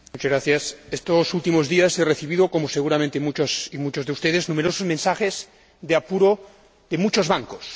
Señora Presidenta, estos últimos días he recibido, como, seguramente, muchas y muchos de ustedes, numerosos mensajes de apuro de muchos bancos.